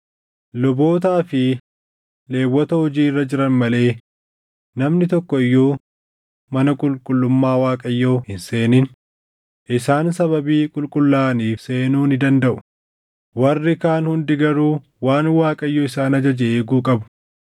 Lubootaa fi Lewwota hojii irra jiran malee namni tokko iyyuu mana qulqullummaa Waaqayyoo hin seenin; isaan sababii qulqullaaʼaniif seenuu ni dandaʼu; warri kaan hundi garuu waan Waaqayyo isaan ajaje eeguu qabu.